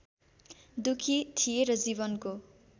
दुखी थिए र जीवनको